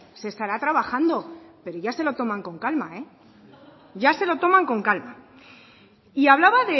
se estará trabajando pero ya se lo toman con calma ya se lo toman con calma y hablaba